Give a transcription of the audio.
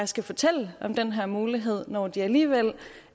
skal fortælle om den her mulighed når de alligevel